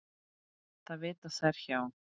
Það vita þær hjá